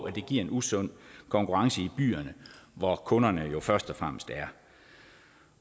at det giver en usund konkurrence i byerne hvor kunderne jo først og fremmest er